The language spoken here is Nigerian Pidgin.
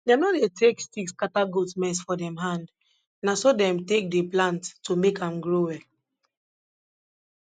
dem nor dey take stick scatter goat mess for dem hand na so dem take dey plant to make am grow well